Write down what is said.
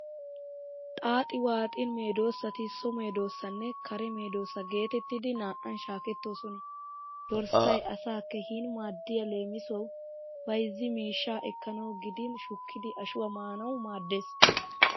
Xaaxi waaxin meedoosati so meedoosanne kare meedoosa geetettidi naa"an shaakettoosona. Dorssay asaa keehin maaddiya leemisuwawu bayzzi miishsha ekkanawu gidin shukkidi ashuwa maanawu maaddees.